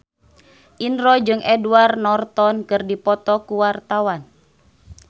Indro jeung Edward Norton keur dipoto ku wartawan